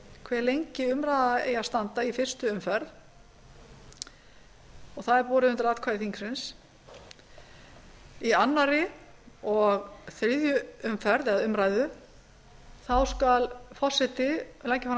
hve lengi umræða eigi að standa í einni umræðu og það er borið undir atkvæði þingsins í öðru og þriðju umræðu skal forseti leggja fram